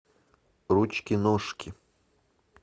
ручки ножки